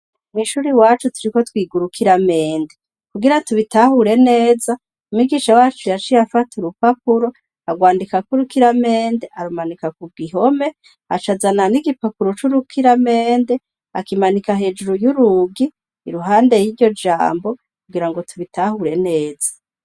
Mw'ishuri wacu turiko twiga urukira mende kugira tubitahure neza umigisha wacu yaci ye afate urupapuro arwandikako urukira mende arumanika ku gihome acazana n'igipapuro c'urukira mende akimanika hejuru y'urugi iruhande y'iryo jambo kugira ngo tubitahure neza.